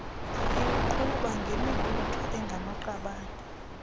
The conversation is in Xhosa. iwuqhuba ngemibutho engamaqabane